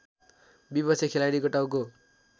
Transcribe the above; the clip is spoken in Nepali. विपक्षी खेलाडीको टाउको